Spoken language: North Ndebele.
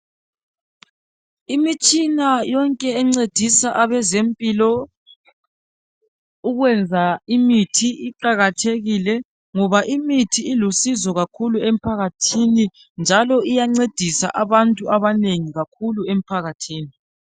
imitshina yonke encedisa abezempilo ukwenza imithi iqakathekile ngoba imithi ilusizo kakhulu emphakathini njalo iyancedisa abantu abanengi kakhulu emphakathini